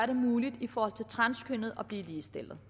det muligt for transkønnede at blive ligestillet